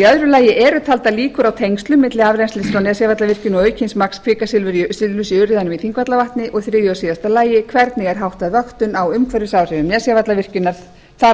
í öðru lagi eru taldar líkur á tengslum milli afrennslis frá nesjavallavirkjun og aukins magns kvikasilfurs í urriðanum í þingvallavatni og í þriðja og síðasta lagi hvernig er háttað vöktun á umhverfisáhrifum nesjavallavirkjunar þar á